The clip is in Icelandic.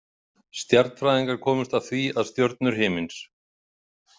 Stjarnfræðingar komust að því að stjörnur himins.